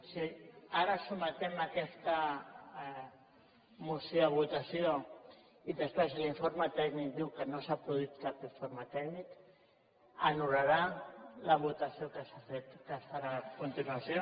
si ara sotmetem aquesta moció a votació i després l’informe tècnic diu que no s’ha produït cap error tècnic anul·larà la votació que es farà a continuació